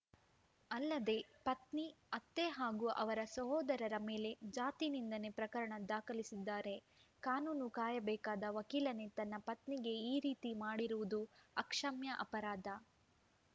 ಅಲ್ಲದೆ ಪತ್ನಿ ಅತ್ತೆ ಹಾಗೂ ಅವರ ಸಹೋದರರ ಮೇಲೆ ಜಾತಿನಿಂದನೆ ಪ್ರಕರಣ ದಾಖಲಿಸಿದ್ದಾರೆ ಕಾನೂನು ಕಾಯಬೇಕಾದ ವಕೀಲನೇ ತನ್ನ ಪತ್ನಿಗೆ ಈ ರೀತಿ ಮಾಡಿರುವುದು ಅಕ್ಷಮ್ಯ ಅಪರಾಧ